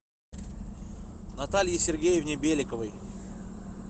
наталье сергеевне беликовой